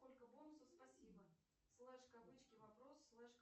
сколько бонусов спасибо слеш кавычки вопрос слеш